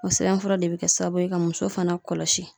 O sɛbɛnfura de bɛ kɛ sababu ye ka muso fana kɔlɔsi.